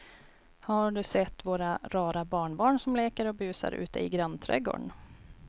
Har du sett våra rara barnbarn som leker och busar ute i grannträdgården!